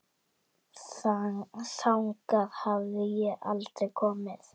Þangað hafði ég aldrei komið.